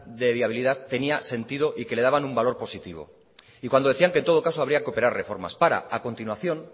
de viabilidad tenía sentido y que le daban un valor positivo y cuando decían que en todo caso habría que operar reformas para a continuación